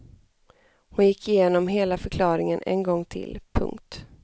Hon gick igenom hela förklaringen en gång till. punkt